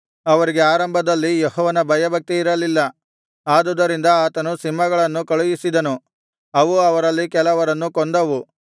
ಅವರಿಗೆ ಆರಂಭದಲ್ಲಿ ಯೆಹೋವನ ಭಯಭಕ್ತಿ ಇರಲಿಲ್ಲ ಆದುದರಿಂದ ಆತನು ಸಿಂಹಗಳನ್ನು ಕಳುಹಿಸಿದನು ಅವು ಅವರಲ್ಲಿ ಕೆಲವರನ್ನು ಕೊಂದವು